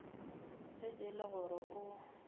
ge e le gore o